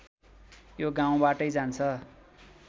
यो गाउँबाटै जान्छ